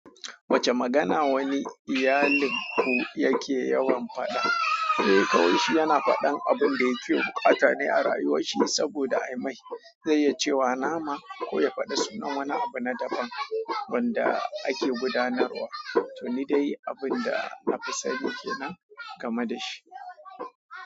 Wacce magana wani iyalin ku yake yawan faɗa? Eh kawunshi yana faɗan abun da yake bukata ne a rayuwarsa saboda ai mai zai iya cewa nama ko ya faɗi sunan wani abu na daban wanda ake gudanarwa, to ni dai abun da na fi sani ke nan game da shi.